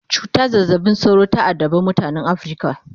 cutan zazzabin cizon sauro ta addabe mutanan Africa